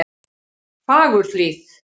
Fagurhlíð